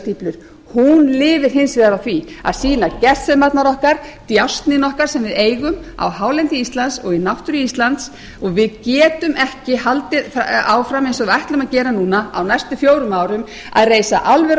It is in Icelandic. risastíflur hún lifir hins vegar á því að sýna gersemarnar okkar djásnin okkar sem við eigum á hálendi íslands og í náttúru íslands og við getum ekki haldið áfram eins og við ætlum að gera núna á næstu fjórum árum að reisa álver